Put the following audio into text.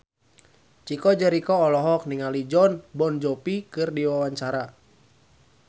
Chico Jericho olohok ningali Jon Bon Jovi keur diwawancara